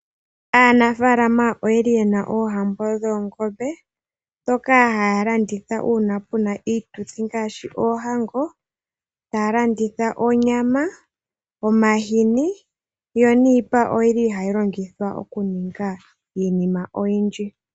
Aanafaalamaoye li ye na oohambo dhoongombe, ndhoka haya landitha uuna pu na iituthi, ngaashi oohango, taa landitha onyama, omahini, yo niipa oyi li hayi longithwa oku ninga iinnima oyindji.